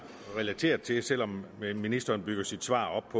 relateret til selv om ministeren bygger sit svar op